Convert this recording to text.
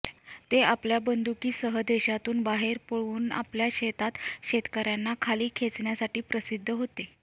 ते आपल्या बंदुकीसह देशांतून बाहेर पळवून आपल्या शेतात शेतकर्यांना खाली खेचण्यासाठी प्रसिद्ध होते